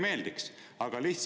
Kellele ei meeldiks?